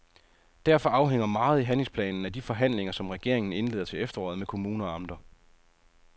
Derfor afhænger meget i handlingsplanen af de forhandlinger, som regeringen indleder til efteråret med kommuner og amter.